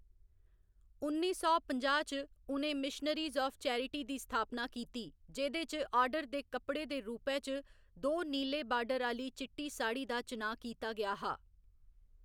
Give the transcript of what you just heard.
उन्नी सौ पंजाह्‌ च, उ'नें मिशनरीज आफ चैरिटी दी स्थापना कीती, जेह्‌‌‌दे च आर्डर दे कप्पड़े दे रूपै च दो नीले बार्डर आह्‌ली चिट्टी साढ़ी दा चुनांऽ कीता गेआ हा।